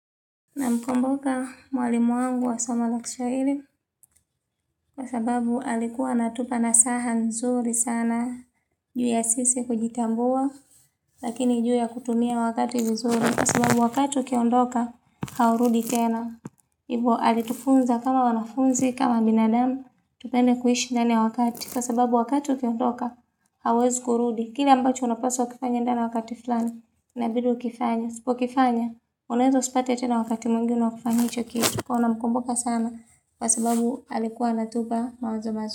Na mkumbuka mwalimu wangu wa somo la kiswahili Kwa sababu alikuwa anatupa nasaha nzuri sana juu ya sisi kujitambua Lakini juu ya kutumia wakati nzuri Kwa sababu wakati ukiondoka haurudi tena hivo alitufunza kama wanafunzi kama binadamu Tupende kuishi ndani ya wakati Kwa sababu wakati ukiondoka hawezi kurudi kile ambacho unapaswa kufanya ndani ya wakati fulani inabidi ukifanye usipo kifanya unaeza usipate tena wakati mwingine wa kufanya hicho kitu kuwa namkumbuka sana Kwa sababu alikuwa natupa mawazo mazuri.